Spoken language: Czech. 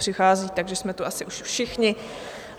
Nepřicházejí, takže jsme tu asi už všichni.